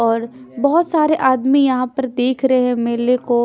बहोत सारे आदमी यहाँ पर देख रहे हैं मेले को--